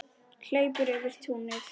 Hleypur yfir túnið.